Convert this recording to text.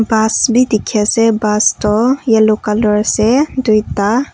bus pi dikhiase bus toh yellow color ase duita.